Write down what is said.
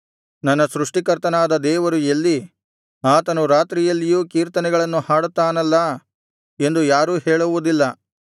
ನನ್ನ ಸೃಷ್ಟಿ ಕರ್ತನಾದ ದೇವರು ಎಲ್ಲಿ ಆತನು ರಾತ್ರಿಯಲ್ಲಿಯೂ ಕೀರ್ತನೆಗಳನ್ನು ಹಾಡುತ್ತಾನಲ್ಲಾ ಎಂದು ಯಾರೂ ಹೇಳುವುದಿಲ್ಲ